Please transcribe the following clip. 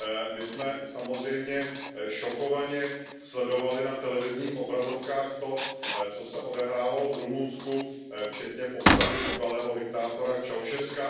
My jsme samozřejmě šokovaně sledovali na televizních obrazovkách to, co se odehrávalo v Rumunsku, včetně popravy bývalého diktátora Ceaușescua.